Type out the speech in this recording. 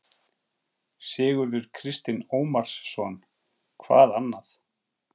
Sigurður Kristinn Ómarsson: Hvað annað?